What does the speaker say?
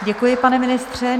Děkuji, pane ministře.